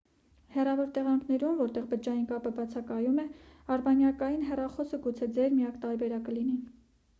հեռավոր տեղանքներում որտեղ բջջային կապը բացակայում է արբանյակային հեռախոսը գուցե ձեր միակ տարբերակը լինի